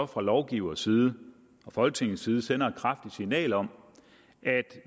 fra lovgivers side fra folketingets side sender et kraftigt signal om at